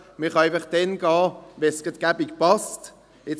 Man kann einfach dann gehen, wenn es gut passt, im Sinne von